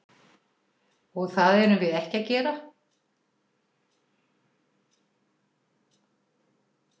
Og það erum við ekki að gera?